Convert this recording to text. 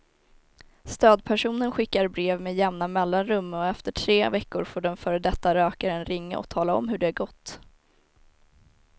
Stödpersonen skickar brev med jämna mellanrum och efter tre veckor får den före detta rökaren ringa och tala om hur det gått.